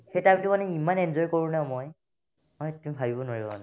সেই time তো মানে ইমান enjoy কৰো না মই মানে তুমি ভাৱিব নোৱাৰিবা মানে